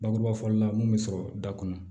Bakuruba fɔli la mun bɛ sɔrɔ da kɔnɔ